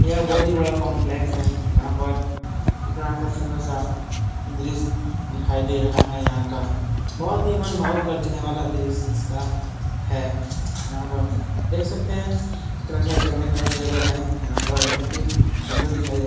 यह बहुत ही बड़ा कंपलेक्स है। यहाँ पर कितना अच्छा सुंदर सा दृश्य दिखाई दे रहा है। यहाँ का बहुत ही मन भावुक कर देने वाला दृश्य इसका है। यहाँ पर देख सकते हैं कितना अच्छा चढ़ने का भी जगह है। यहाँ पर बहुत ही सुंदर दिखाई दे --